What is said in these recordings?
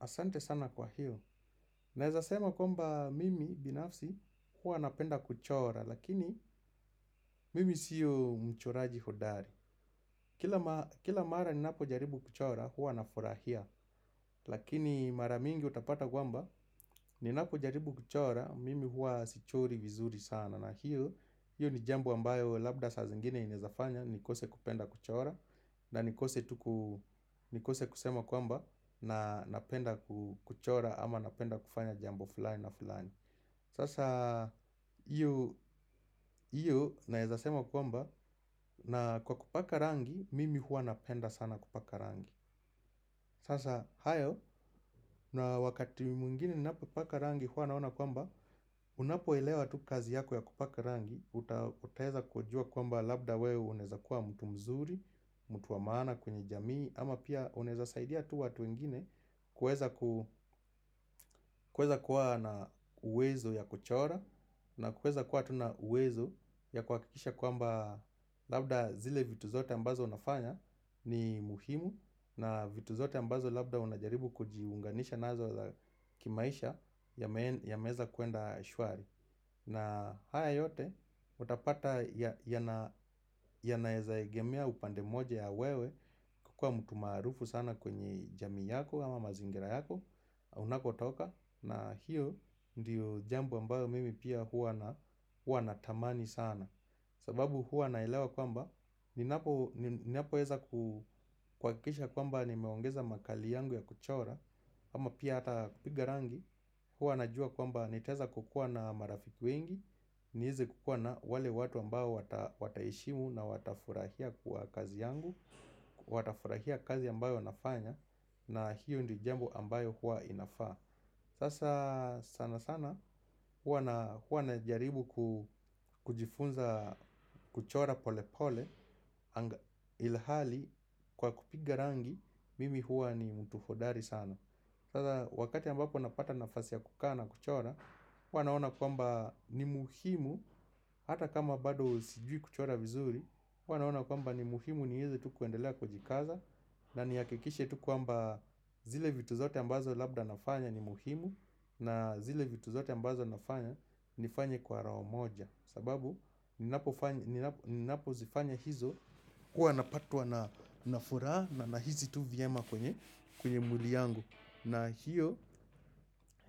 Asante sana kwa hiyo. Ninaweza sema kwamba mimi binafsi huwa napenda kuchora, Lakini mimi sio mchoraji hodari. Kila mara ninapojaribu kuchora huwa nafurahia Lakini mara mingi utapata kwamba, ninapojaribu kuchora Mimi huwa sichori vizuri sana, na hiyo ni jambo ambayo labda saa zingine inaweza fanya nikose kupenda kuchora na nikose tu nikose kusema kwamba na napenda kuchora ama napenda kufanya jambo fulani na fulani Sasa hiyo hiyo ninaweza sema kwamba na kwa kupaka rangi mimi huwa napenda sana kupaka rangi Sasa hayo na wakati mwengine ninapopaka rangi huwa naona kwamba Unapoelewa tu kazi yako ya kupaka rangi, utaweza kujua kwamba labda wewe unaweza kuwa mtu mzuri mtu wa maana kwenye jamii ama pia unaweza saidia tu watu wengine kuweza kuweza kuwa na uwezo ya kuchora na kuweza kuwa tu na uwezo ya kuhakikisha kwamba labda zile vitu zote ambazo unafanya ni muhimu na vitu zote ambazo labda unajaribu kujiunganisha nazo za kimaisha yameweza kuenda shwari. Na haya yote utapata yanaweza egemea upande mmoja ya wewe kukuwa mtu maarufu sana kwenye jamii yako ama mazingira yako Unakotoka na hiyo ndio jambo ambayo mimi pia huwa natamani sana sababu huwa naelewa kwamba ninapoweza kuhakikisha kwamba nimeongeza makali yangu ya kuchora ama pia hata kupiga rangi huwa najua kwamba nitaweza kukuwa na marafiki wengi niweze kukuwa na wale watu ambao wataheshimu na watafurahia kwa kazi yangu Watafurahia kazi ambayo nafanya na hiyo ndio jambo ambayo huwa inafaa. Sasa sana sana huwa najaribu kujifunza kuchora pole pole Ilhali kwa kupiga rangi mimi hua ni mtu hodari sana Sasa wakati ambapo napata nafasi ya kukaa na kuchora huwa naona kwamba ni muhimu Hata kama bado sijui kuchora vizuri huwa naona kwamba ni muhimu ni hizi tu kuendelea kujikaza, ma nihakikishe tu kwamba zile vitu zote ambazo labda nafanya ni muhimu na zile vitu zote ambazo nafanya ni fanya kwa roho moja sababu ninapofanya ninapozifanya hizo kuwa napatwa na na furaha na nahisi tu vyema kwenye kwenye mwili yangu. Na hiyo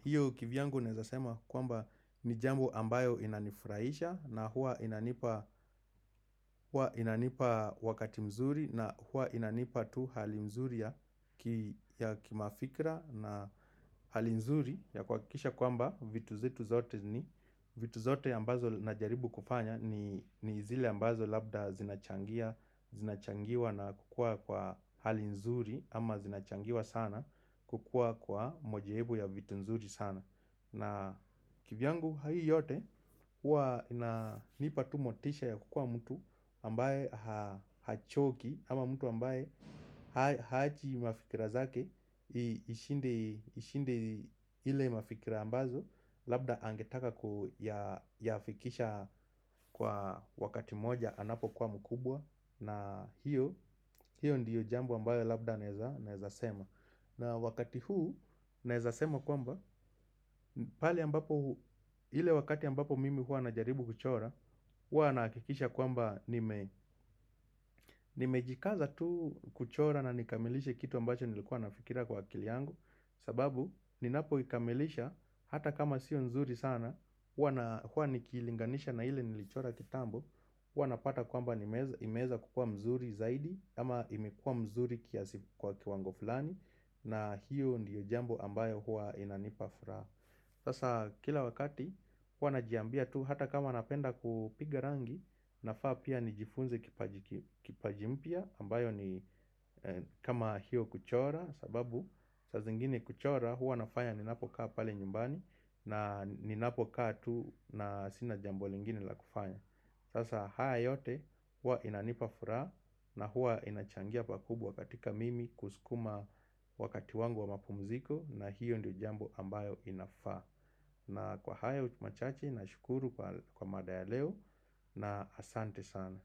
hiyo kivyangu ninaweza sema kwamba ni jambo ambayo inanifurahisha na huwa inanipa inanipa wakati mzuri na huwa inanipa tu hali mzuri ya kimafikra na hali mzuri ya kuhakikisha kwamba vitu zetu zote ni, vitu zote ambazo najaribu kufanya ni zile ambazo labda zinachangia, zinachangiwa na kukuwa kwa hali mzuri ama zinachangiwa sana kukua kwa mujibu ya vitu mzuri sana. Na kivyangu hii yote huwa inanipa tu motisha ya kukuwa mtu ambaye hachoki, Ama mtu ambaye haachi mafikira zake Ishinde, ishinde ile mafikira ambazo Labda angetaka kuyafikisha kwa wakati moja anapokuwa mkubwa na hiyo hiyo ndio jambo ambayo labda naweza sema na wakati huu ninaweza sema kwamba, pahali ambapo, ile wakati ambapo mimi huwa najaribu kuchora huwa nahakikisha kwamba nimejikaza tu kuchora na nikamilishe kitu ambacho nilikuwa nafikiria kwa akili yangu, sababu ninapoikamilisha hata kama sio nzuri sana huwa na huwa nikiilinganisha na ile nilichora kitambo huwa napata kwamba imeweza kukua mzuri zaidi, ama imekua mzuri kiasi kwa kiwango fulani na hiyo ndio jambo ambayo huwa inanipa furaha Sasa kila wakati huwa najiambia tu hata kama napenda kupiga rangi nafaa pia nijifunze kipaji kipaji mpya ambayo ni kama hiyo kuchora sababu saa zingine kuchora huwa nafanya ninapokaa pale nyumbani na ninapokaa tu na sina jambo lingine la kufanya Sasa haya yote huwa inanipa furaha na huwa inachangia pakubwa katika mimi kusukuma wakati wangu wa mapumziko na hiyo ndio jambo ambayo inafaa. Na kwa hayo machache nashukuru kwa mada ya leo. Na asante sana.